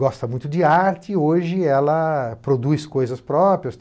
Gosta muito de arte e hoje ela produz coisas próprias.